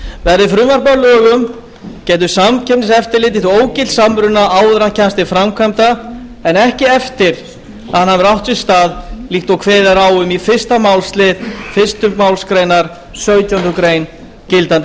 verði frumvarpið að lögum getur samkeppniseftirlitið því ógilt samruna áður en hann kemst til framkvæmda en ekki eftir að hann hefur átt sér stað líkt og kveðið er á um í fyrsta málsl fyrstu málsgrein sautjándu grein gildandi